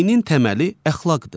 Dinin təməli əxlaqdır.